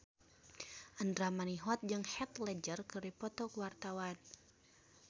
Andra Manihot jeung Heath Ledger keur dipoto ku wartawan